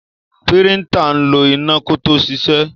Píríńtà ń lo iná kó tó ṣiṣẹ́.